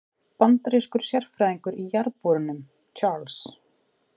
Bandarískur sérfræðingur í jarðborunum, Charles